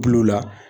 Bul'u la